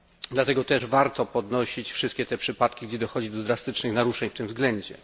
Dlatego warto też podnosić wszystkie te przypadki, gdzie dochodzi do drastycznych naruszeń w tym względzie.